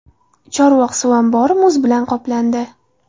Chorvoq suv ombori muz bilan qoplandi.